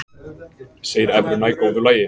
Segir evruna í góðu lagi